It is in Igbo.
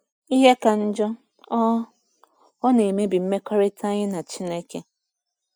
Ihe ka njọ, ọ ọ na-emebi mmekọrịta anyị na Chineke.